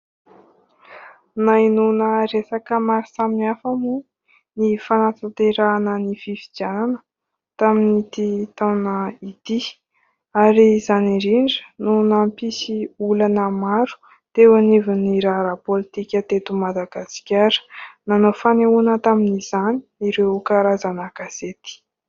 Nahenoana resaka maro samihafa moa ny fanatanterahana ny fifidianana tamin'ity taona ity, ary izany indrindra no nampisy olana maro teo anivon'ny raharaha pôlitika teto Madagasikara, nanao fanehoana tamin'izany ireo karazana gazety.